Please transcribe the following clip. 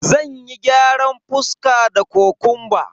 Zanyi gyaran fuska da kokumba.